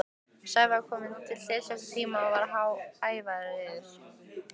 Sævar kom á tilsettum tíma og var ævareiður.